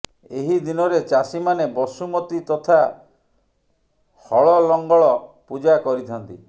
ଏହି ଦିନରେ ଚାଷୀମାନେ ବସୁମତୀ ତଥା ହଳଲଙ୍ଗଳ ପୂଜା କରିଥାନ୍ତି